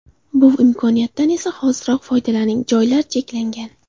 Bu imkoniyatdan esa hoziroq foydalaning, joylar cheklangan!